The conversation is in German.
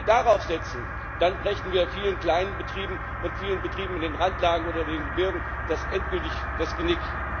Wenn wir darauf setzen, dann brechen wir vielen Kleinbetrieben und vielen Betrieben in den Randlagen oder in den Gebirgen endgültig das Genick.